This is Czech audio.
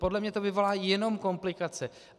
Podle mě to vyvolá jenom komplikace.